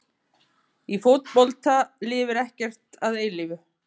Í fótbolta lifir ekkert að eilífu.